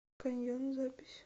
каньон запись